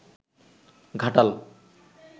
Ghatal